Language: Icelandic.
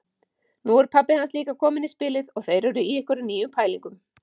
Nú er pabbi hans líka kominn í spilið og þeir eru í einhverjum nýjum pælingum.